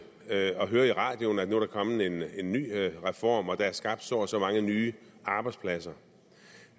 at høre i radioen at nu er der kommet en ny reform og der er skabt så og så mange nye arbejdspladser